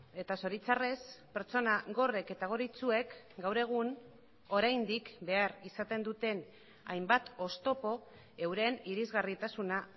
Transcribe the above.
eta zoritxarrez pertsona gorrek eta gor itsuek gaur egun oraindik behar izaten duten hainbat oztopo euren irisgarritasuna